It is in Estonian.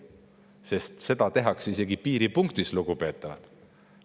Selline isegi piiripunktis, lugupeetavad.